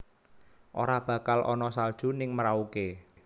Ora bakal ono salju ning Merauke